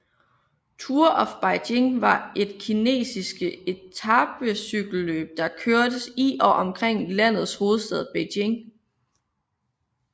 Tour of Beijing var et kinesiske etapecykelløb der kørtes i og omkring landets hovedstad Beijing